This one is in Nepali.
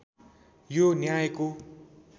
यो न्यायको